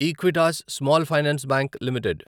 Equitas Small Finance Bank limited